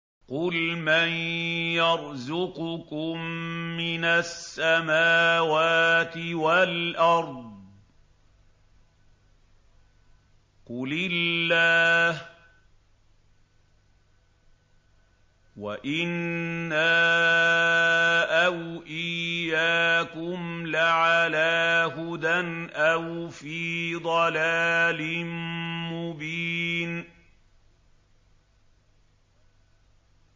۞ قُلْ مَن يَرْزُقُكُم مِّنَ السَّمَاوَاتِ وَالْأَرْضِ ۖ قُلِ اللَّهُ ۖ وَإِنَّا أَوْ إِيَّاكُمْ لَعَلَىٰ هُدًى أَوْ فِي ضَلَالٍ مُّبِينٍ